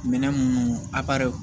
Minɛn minnu